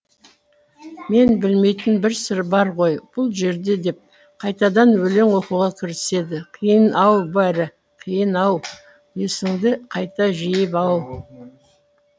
мен білмейтін бір сыр бар ғой бұл жерде деп қайтадан өлең оқуға кіріседі қиын ау бәрі қиын ау есіңді қайта жиып ау